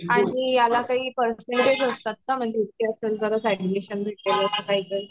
आणि याला काही पर्सेंटेज असतात का म्हणजे इतके असेल तरच एड्मिशन भेटेल अस काही